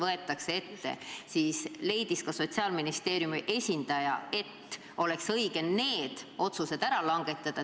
Seetõttu leidis Sotsiaalministeeriumi esindaja, et oleks õige nende lõigetega seotud otsused juba varem ära teha.